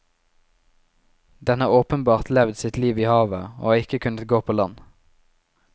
Den har åpenbart levd sitt liv i havet, og har ikke kunnet gå på land.